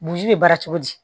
Burusi bɛ baara cogo di